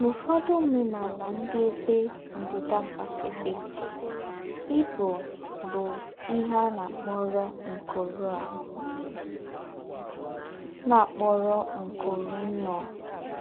N’ứfọ́dụ̀ ǒmènàlà ndí́ Ébé Ndí́dà Pásífìk, ìbụ̀ bụ́ íhè à nà-àkpọ̀rọ̀ ńkụ̀rụ̀ à nà-àkpọ̀rọ̀ ńkụ̀rụ̀ nnụ̀.